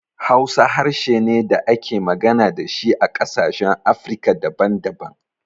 Hausa harshe ne da ake magana da shi a ƙasashen Afirika daban daban.